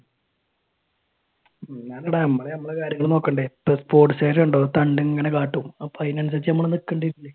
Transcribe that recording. അല്ലടാ നമ്മൾ നമ്മടെ കാര്യങ്ങൾ നോക്കണ്ടേ തണ്ട് ഇങ്ങാനെ കാട്ടും അപ്പൊ അതിനനുസരിച്ച് നമ്മൾ നിക്കണ്ടി വരില്ലേ